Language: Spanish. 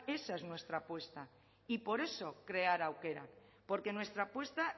esa es nuestra apuesta y por eso crear aukerak porque nuestra apuesta